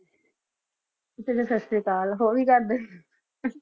ਜੀ ਸਸ੍ਰੀਆਕਲ ਹੋਰ ਇ ਕਰਦੇ